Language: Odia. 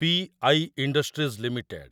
P I industries limited